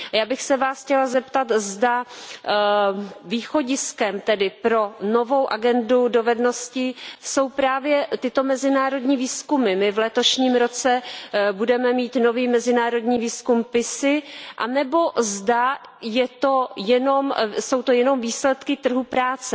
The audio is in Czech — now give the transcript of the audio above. Já bych se Vás chtěla zeptat, zda východiskem pro novou agendu dovedností jsou právě tyto mezinárodní výzkumy my v letošním roce budeme mít nový mezinárodní výzkum PISA anebo zda jsou to jenom výsledky trhu práce.